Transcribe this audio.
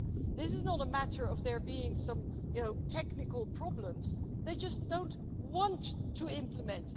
This is not a matter of there being some technical problems, they just don't want to implement.